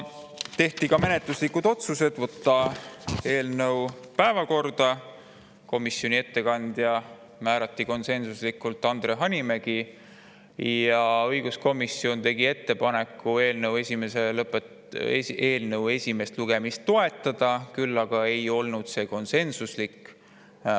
Tehti ka menetluslikud otsused: võtta eelnõu päevakorda, komisjoni ettekandjaks määrati konsensuslikult Andre Hanimägi ning õiguskomisjon tegi ettepaneku eelnõu esimest lugemist toetada, kuid see ei olnud konsensuslik.